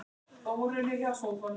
Gerði allt með stæl.